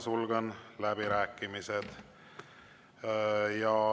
Sulgen läbirääkimised.